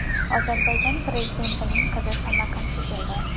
Ozarbayjon prezidentining qizi Samarqandga keldi.